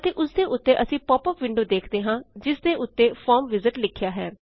ਅਤੇ ਓਸਦੇ ਉੱਤੇ ਅਸੀ ਪੌਪ ਅਪ ਵਿੰਡੋ ਵੇਖਦੇ ਹਾਂ ਜਿਸ ਦੇ ਉੱਤੇ ਫਾਰਮ ਵਿਜ਼ਾਰਡ ਲਿਖਿਆ ਹੈ